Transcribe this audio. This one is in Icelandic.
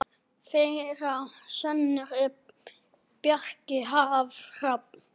Þeirra sonur er Bjarki Hrafn.